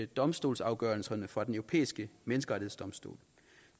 domstolsafgørelserne fra den europæiske menneskerettighedsdomstol